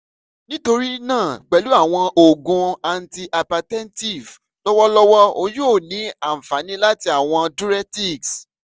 nitori naa pẹlu awọn oogun antihypertensive lọwọlọwọ o yoo ni anfani lati awọn diuretics